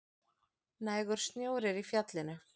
Nægur snjór er í fjallinu